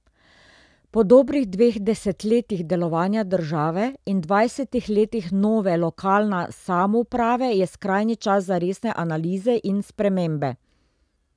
Po dobrih dveh desetletjih delovanja države in dvajsetih letih nove lokalna samouprave je skrajni čas za resne analize in spremembe.